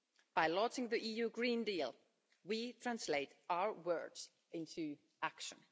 By launching the EU Green Deal we translate our words into action.